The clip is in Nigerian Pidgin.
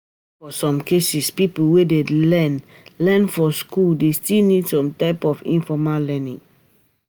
For some cases, pipo wey learn learn for school dey still need some type of informal learning